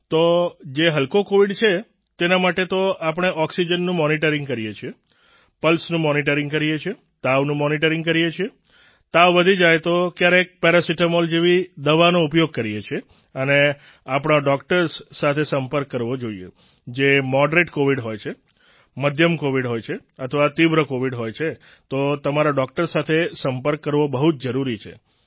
તો જે હલકો કોવિડ છે તેના માટે તો આપણે ઓક્સિજનનું મોનિટરિંગ કરીએ છીએ પલ્સનું મોનિટરિંગ કરીએ છીએ તાવનું મોનિટરિંગ કરીએ છીએ તાવ વધી જાય તો ક્યારેક પેરાસેટામોલ જેવી દવાનો ઉપયોગ કરીએ છીએ અને આપણા ડોક્ટર્સ સાથે સંપર્ક કરવો જોઈએ જે મોડરેટ કોવિડ હોય છે મધ્યમ કોવિડ હોય છે અથવા તીવ્ર કોવિડ હોય છે તો તમારા ડોક્ટર સાથે સંપર્ક કરવો બહુ જ જરૂરી છે